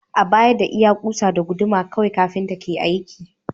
A baya, da iya kusa da guduma kawai kafinta ke aiki.